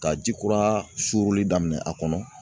Ka ji kura suruli daminɛ a kɔnɔ